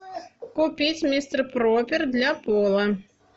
купить мистер пропер для пола